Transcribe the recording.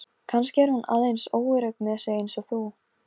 Satt að segja bjóst ég við hinu versta Jón minn.